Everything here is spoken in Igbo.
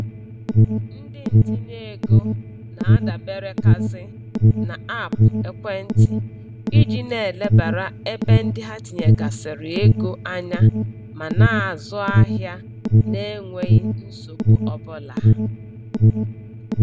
Ndị ntinyeego na-adaberekazi n'aapụ ekwentị iji na-elebara ebe ndị ha tinyegasịrị ego anya ma na-azụ ahịa na-enweghi nsogbu ọbụla.